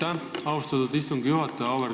Aitäh, austatud istungi juhataja!